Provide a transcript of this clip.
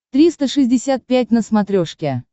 триста шестьдесят пять на смотрешке